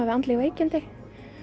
við andleg veikindi